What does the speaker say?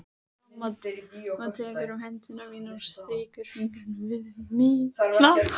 Mamma tekur um hendur mínar og strýkur fingrunum við mína.